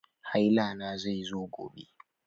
Haila na zai zo gobe.